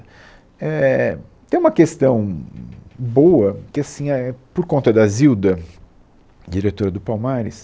é é é, Tem uma questão boa que assim, é, por conta da Zilda, diretora do Palmares,